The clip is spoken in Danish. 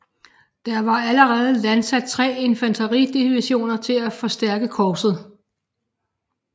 Der var allerede landsat tre infanteridivisioner til at forstærke korpset